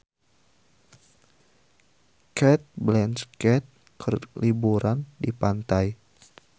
Cate Blanchett keur liburan di pantai